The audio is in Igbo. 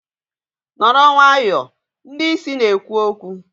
nọrọ nwayọọ! ndị isi na-ekwu okwu